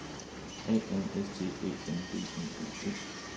A N S T Æ N D I G T